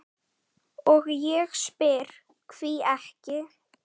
og ég spyr: hví ekki?